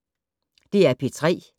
DR P3